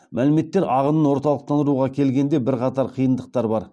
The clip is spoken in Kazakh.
мәліметтер ағынын орталықтандыруға келгенде бірқатар қиындықтар бар